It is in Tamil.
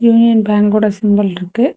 யூனியன் பேங்கோட சிம்பிள் இருக்கு.